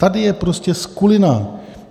Tady je prostě skulina.